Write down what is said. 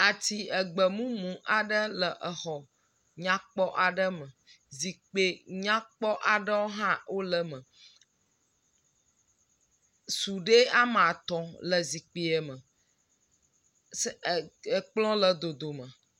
Ati egbemumu aɖe le exɔ nyakpɔ aɖe me, zikpe nyakpɔ aɖewo hã le eme. Sudee amatɔ̃ le zikpee eme, s..e. ekplɔ le dodome.